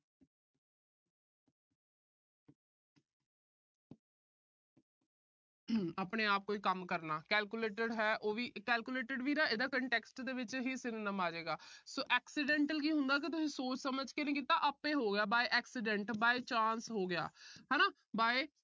ਆਪਣੇ-ਆਪ ਕੋਈ ਕੰਮ ਕਰਨਾ। calculated ਹੈ ਇਹਦਾ context ਦੇ ਵਿੱਚ synonyms ਆਜੇਗਾ। so accidental ਕੀ ਹੁੰਦਾ, ਤੁਸੀਂ ਸੋਚ ਸਮਝ ਕੇ ਨੀ ਕੀਤਾ, ਆਪੇ ਹੋ ਗਿਆ। by accidental ਹੋ ਗਿਆ ਹਨਾ।